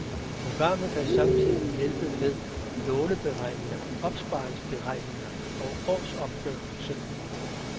Programmet kan samtidig hjælpe med låneberegninger, opsparingsberegninger og årsopgørelse.